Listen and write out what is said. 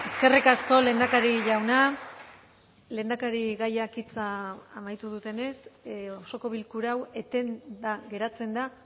eskerrik asko lehendakari jauna lehendakarigaiak hitza amaitu dutenez osoko bilkura hau etenda geratzen da